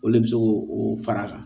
O le bɛ se k'o o fara a kan